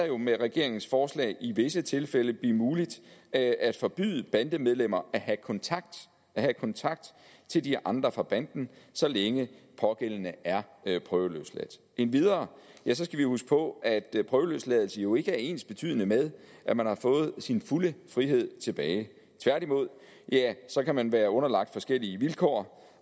jo med regeringens forslag i visse tilfælde blive muligt at at forbyde bandemedlemmer at have kontakt have kontakt til de andre fra banden så længe pågældende er prøveløsladt endvidere skal vi huske på at prøveløsladelse jo ikke er ensbetydende med at man har fået sin fulde frihed tilbage tværtimod kan man være underlagt forskellige vilkår